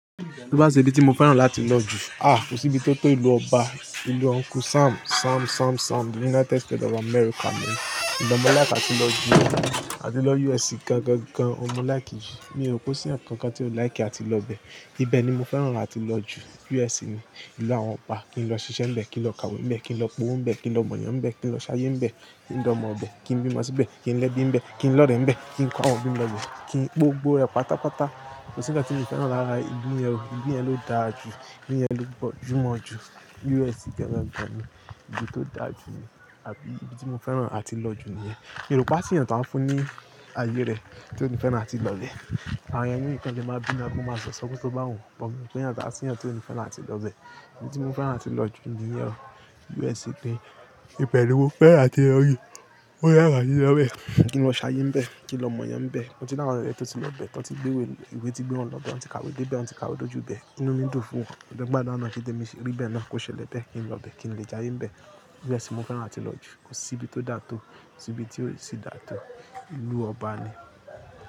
Bóbá ṣe bí tí mo fẹ́ràn láti lọ jù, áà, kò sí ibi tó tó ìlú ọba, ìlú Uncle Sam, Sam, Sam, Sam, the United States of America ni. Ibẹ̀ ni mo like àti lọ jù, à ti lọ US kan gangan, òun ni mo láì kì jù. Mi ò rò pé sí èèyàn kankan tí ò like à ti lọ bẹ̀. Ibẹ̀ ni mo fẹ́ràn àti lọ jù, US ni, ìlú àwọn ọba. Kí n lọ ṣiṣẹ́ níbẹ̀, kí n lọ kàwé níbẹ̀, kí n lọ p'owó ń bẹ̀, kí n lọ mọ̀'yàn ń bẹ̀, kí n lọ ṣayé níbẹ̀, kí n d'ọmọ ibẹ̀, kí n bí'mọ síbẹ̀, kí n lẹ́bí níbẹ̀, kí n lọ́ọ̀rẹ́ níbẹ̀, kí n kó àwọn òbí mi lọ bẹ̀, kí n gbogbo rẹ̀ pátápátá. Kò sí nǹkan tí mi ò fẹ́ràn lára ìlú yẹn o. Ìlú yẹn ló da jù, ìlú yẹn ló gbọ́dọ́ jù mọ́ jù. US gangan gan ni, ibi tó da jù ni, àbí ibi tí mo fẹ́ràn àti lọ jù níyẹn. Mi ò rò pé á sí èèyàn tí wọ́n ń fún ní àye rẹ̀ tí ò ní fẹ́ràn àti lọ bẹ̀. Àwọn èèyàn míì kan lè máa bínú àbí, máa sọ̀ sọkú sọ bá wun, bọ̀ mo pé ásí èèyàn tí ò ní fẹ́ràn áti lọ bẹ̀. Ibi tí mo fẹ́ràn àti lọ jù nì yẹn o, US gbẹ. Ibẹ̀ ni mo fẹ́ràn àti lọ jù. Bóyá mà á yí lọ bẹ̀. Kí n lọ ṣayé níbẹ̀, kí n lọ mọ̀yàn níbẹ̀, moti lá àwọn ọ̀rẹ́ tó ti lọ bẹ̀, tọ́n ti gbé ìwé, ìwé ti gbé wọn lọ bẹ̀, wọ́n ti kàwé dé bẹ̀, wọ́n ti kàwé dójú ibẹ̀. Inú mi í dùn fún wọn? Modẹ̀ ń gbàdúrà náà kí tèmi ṣe rí bẹ́ẹ̀ náà, kó ṣẹlẹ̀ bẹ́ẹ̀ kí n lọ bẹ̀, kí n lè jayé níbẹ̀. US mo fẹ́ràn àti lọ jù, kò sí ibi tó dà tó, kò sí ibi tí ò sì dà tó, ìlú ọba ni.